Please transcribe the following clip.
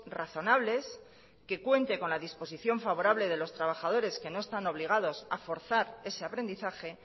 razonables que cuente con la disposición favorable de los trabajadores que no están obligados a forzar ese aprendizaje